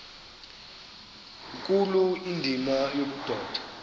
nkulu indima yobudoda